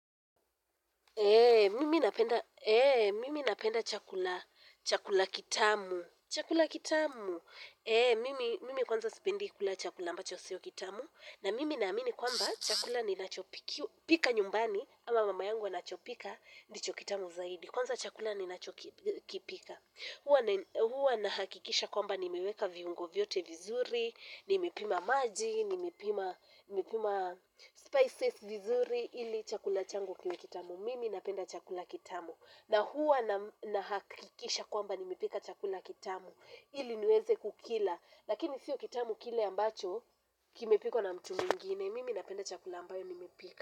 Eee, mimi napenda chakula, chakula kitamu, chakula kitamu, eee, mimi kwanza sipendi kula chakula ambacho sio kitamu na mimi naamini kwamba chakula ninachopika nyumbani ama mama yangu anachopika ndicho kitamu zaidi kwanza chakula ninachokipika huwa nahakikisha kwamba nimeweka viungo vyote vizuri, nimepima maji, nimepima spices vizuri ili chakula changu kiwe kitamu. Mimi napenda chakula kitamu. Na huwa nahakikisha kwamba nimepika chakula kitamu. Ili niweze kukila. Lakini sio kitamu kile ambacho kimepikwa na mtu mwingine.